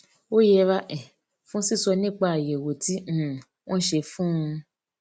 ó yẹra um fún sísọ nípa àyèwò tí um wón ṣe fún un